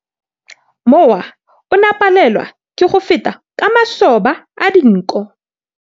Mowa o ne o palelwa ke go feta ka masoba a dinko.